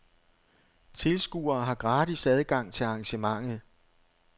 Tilskuere har gratis adgang til arrangementet.